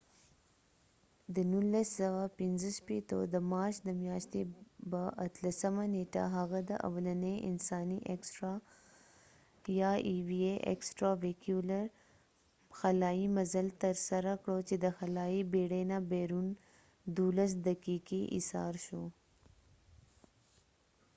د 1965 د مارچ د میاشتی به اتلسمه نیټه هغه د اولنی انسانی اکسټرا ويهیکولر eva extravehicular یا خلایې مزل تر سره کړ چې د خلایې بیړی نه بیرون 12 دقیقی ایسار شو